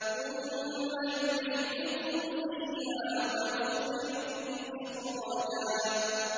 ثُمَّ يُعِيدُكُمْ فِيهَا وَيُخْرِجُكُمْ إِخْرَاجًا